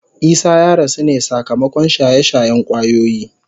Isah ya rasu ne sakamakon shaye-shayen kwayoyi.